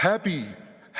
Häbi!